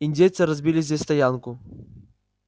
индейцы разбили здесь стоянку